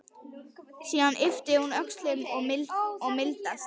Síðan ypptir hún öxlum og mildast.